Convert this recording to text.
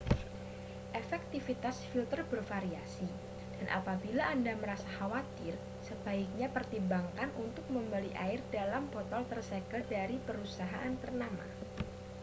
efektivitas filter bervariasi dan apabila anda merasa khawatir sebaiknya pertimbangkan untuk membeli air dalam botol tersegel dari perusahaan ternama